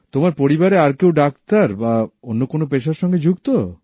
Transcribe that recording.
তোমার পরিবারে আর কেউ ডাক্তার না অন্য কোনো পেশার সঙ্গে যুক্ত